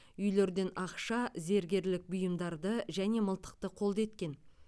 үйлерден ақша зергерлік бұйымдарды және мылтықты қолды еткен